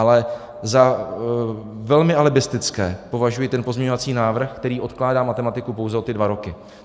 Ale za velmi alibistický považuji ten pozměňovací návrh, který odkládá matematiku pouze o ty dva roky.